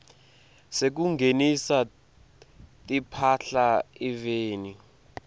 sekungenisa timphahla eveni